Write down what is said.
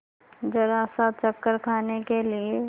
जरासा चक्कर खाने के लिए